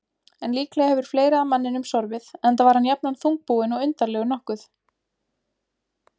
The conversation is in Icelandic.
En líklega hefur fleira að manninum sorfið, enda var hann jafnan þungbúinn og undarlegur nokkuð.